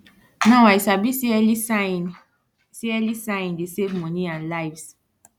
now i sabi say early sighing say early sighing dey save money and lives